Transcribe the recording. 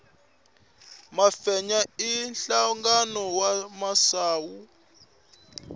mafenya i nhlangano wa misawu